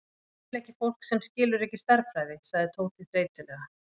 Ég skil ekki fólk sem skilur ekki stærðfræði, sagði Tóti þreytulega.